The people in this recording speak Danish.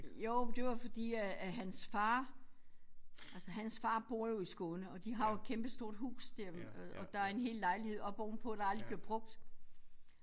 Jo men det var fordi at at hans far altså hans far bor jo i Skåne og de har jo et kæmpestort hus der og der er en hel lejlighed oppe ovenpå der aldrig bliver brugt